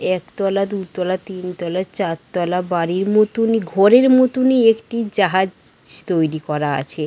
একতলা দুতলা তিনতলা চারতলা বাড়ির মতনই ঘরের মতনই একটি জাহাজ তৈরী করা আছে ।